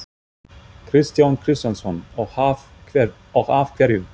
Kristján Kristjánsson: Og af hverju?